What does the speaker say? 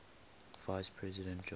vice president john